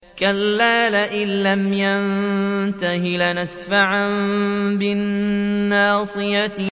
كَلَّا لَئِن لَّمْ يَنتَهِ لَنَسْفَعًا بِالنَّاصِيَةِ